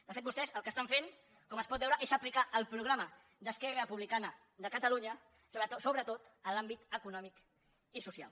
de fet vostès el que estan fent com es pot veure és aplicar el programa d’esquerra republicana de catalunya sobretot en l’àmbit econòmic i social